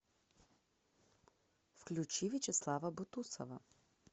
включи вячеслава бутусова